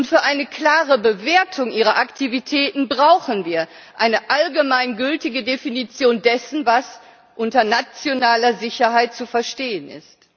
Für eine klare Bewertung ihrer Aktivitäten brauchen wir eine allgemeingültige Definition dessen, was unter nationaler Sicherheit zu verstehen ist.